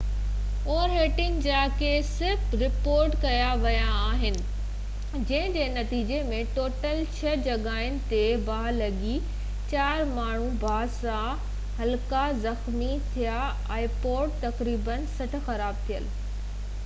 تقريبن 60 خراب ٿيل ipods اور هيٽنگ جا ڪيس رپورٽ ڪيا ويا آهن جنهن جي نتيجي ۾ ٽوٽل ڇهه جڳهين تي ٻاهه لڳي چار ماڻهو باهه سان هلڪا زخمي ٿيا